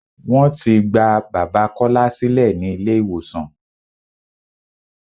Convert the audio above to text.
Wọ́n ti gba bàbá Kọ́lá sílẹ̀ ní ilé ìwòsàn.